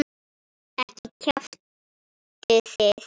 Ekki kjaftið þið.